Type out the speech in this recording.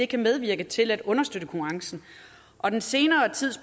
kan medvirke til at understøtte konkurrencen og den senere tids